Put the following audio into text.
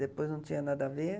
Depois não tinha nada a ver.